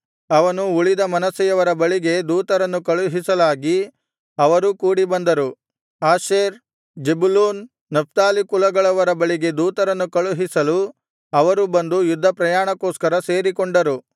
ಅವನು ಉಳಿದ ಮನಸ್ಸೆಯವರ ಬಳಿಗೆ ದೂತರನ್ನು ಕಳುಹಿಸಲಾಗಿ ಅವರೂ ಕೂಡಿಬಂದರು ಆಶೇರ್ ಜೆಬುಲೂನ್ ನಫ್ತಾಲಿ ಕುಲಗಳವರ ಬಳಿಗೆ ದೂತರನ್ನು ಕಳುಹಿಸಲು ಅವರೂ ಬಂದು ಯುದ್ಧಪ್ರಯಾಣಕ್ಕೋಸ್ಕರ ಸೇರಿಕೊಂಡರು